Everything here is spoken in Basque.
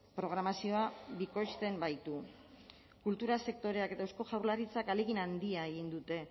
programazioa bikoizten baitu kultura sektoreak eta eusko jaurlaritzak ahalegin handia egin dute